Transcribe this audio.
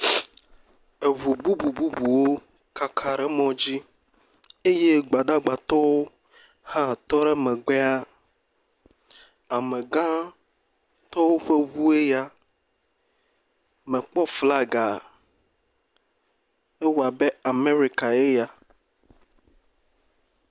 Ŋu bubububuwo kaka ɖe mɔ dzi eye gbadagbatɔwo hã tɔ ɖe megbea. Amegã ŋtɔ ƒe ŋu eya, mekpɔ flaga, ewɔ abe Amerika eya.